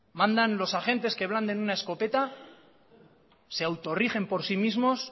mandan los agentes que blanden una escopeta se autorigen por sí mismos